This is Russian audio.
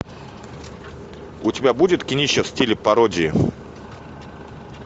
у тебя будет кинище в стиле пародии